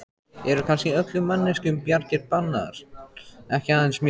Eru kannski öllum manneskjum bjargir bannaðar, ekki aðeins mér?